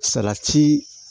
Salati